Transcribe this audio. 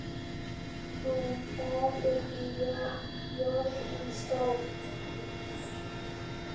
Pálrún, hvað er jörðin stór?